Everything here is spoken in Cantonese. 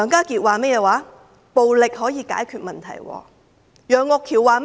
他說暴力可以解決問題；楊岳橋議員說了甚麼呢？